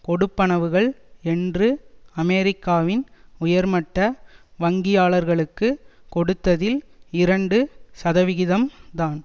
கொடுப்பனவுகள் என்று அமெரிக்காவின் உயர்மட்ட வங்கியாளர்களுக்கு கொடுத்ததில் இரண்டு சதவிகிதம்தான்